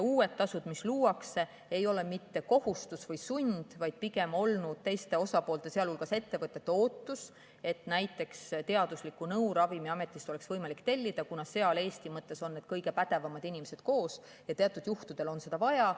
Uued tasud, mis luuakse, ei ole mitte kohustus või sund, vaid pigem on olnud teiste osapoolte, sealhulgas ettevõtete ootus, et näiteks oleks teaduslikku nõu võimalik Ravimiametist tellida, kuna seal on Eesti mõttes kõige pädevamad inimesed koos ja teatud juhtudel on seda nõu vaja.